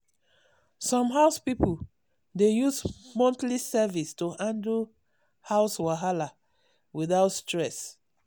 some house people dey use monthly service to handle house wahala without stress.